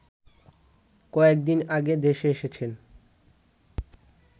কয়েকদিন আগে দেশে এসেছেন